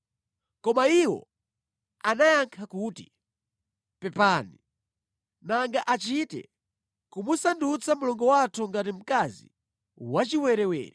Koma iwo anayankha kuti, “Pepani, nanga achite kumusandutsa mlongo wathu ngati mkazi wachiwerewere?”